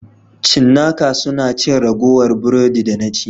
Cinnaka suna cin ragowar burodi da na ci.